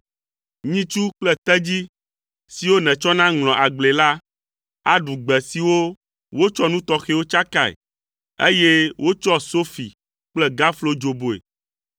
Nyitsu kple tedzi siwo nètsɔna ŋlɔa agblee la, aɖu gbe siwo wotsɔ nu tɔxɛwo tsakae, eye wotsɔ sofi kple gaflo dzoboe.